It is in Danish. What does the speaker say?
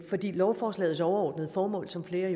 lovforslagets overordnede formål som flere